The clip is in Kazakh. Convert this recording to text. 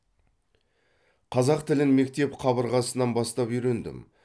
қазақ тілін мектеп қабырғасынан бастап үйрендім